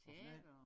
Hvad for noget?